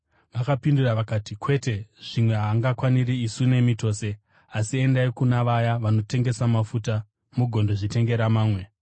“Vakapindura vakati, ‘Kwete, zvimwe haangakwaniri isu nemi tose. Asi endai kuna vaya vanotengesa mafuta mugondozvitengera mamwe.’